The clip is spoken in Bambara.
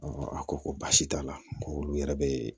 a ko ko baasi t'a la ko olu yɛrɛ bɛ